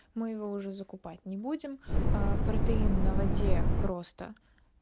мы его уже закупать не будем аа протеин на воде просто